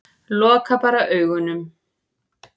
Loka bara augunum.